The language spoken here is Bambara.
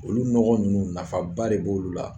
Olu nɔgɔ ninnu nafa ba de b'olu la